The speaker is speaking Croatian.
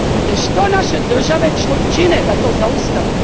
Te što naše države čine da to zaustave?